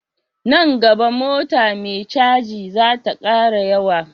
Nan gaba mota me caji zata kara yawa